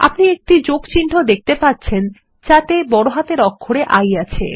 আপনি একটি যোগ চিহ্ন দেখতে পাচ্ছেন যাতে একটি বড় হাতের অক্ষরে I আছে